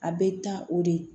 A bɛ taa o de